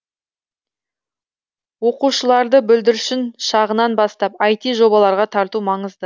оқушыларды бүлдіршін шағынан бастап іт жобаларға тарту маңызды